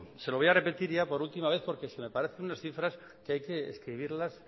se lo voy a repetir ya por última vez porque me parecen unas cifras que hay que escribirlas